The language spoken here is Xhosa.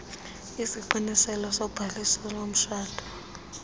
isiqiniselo sobhaliso lomtshato